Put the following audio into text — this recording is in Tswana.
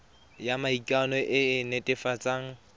ya maikano e e netefatsang